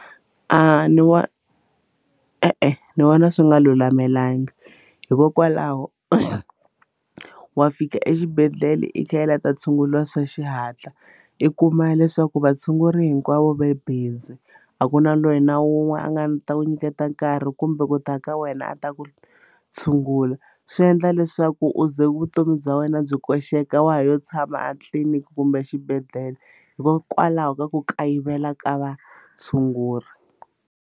A ni wa e-e ni vona swi nga lulamelangi hikokwalaho wa fika exibedhlele i kha i la ta tshunguriwa swa xihatla i kuma leswaku vatshunguri hinkwavo va busy a ku na lweyi na wun'we a nga ni ta ku nyiketa nkarhi kumbe ku ta ka wena a ta ku tshungula swi endla leswaku u ze vutomi bya wena byi koxeka wa ha yo tshama a tliliniki kumbe exibedhlele hikokwalaho ka ku kayivela ka vatshunguri.